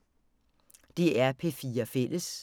DR P4 Fælles